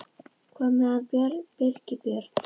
Hvað er með hann Birgi Björn?